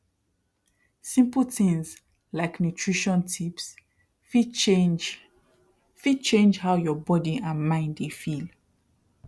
simple things like nutrition tips fit change fit change how your body and mind dey feel